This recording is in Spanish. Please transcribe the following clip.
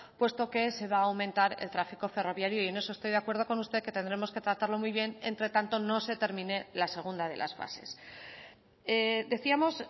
puesto que se va a aumentar el tráfico ferroviario y en eso estoy de acuerdo con usted que tendremos que tratarlo muy bien entre tanto no se termine la segunda de las fases decíamos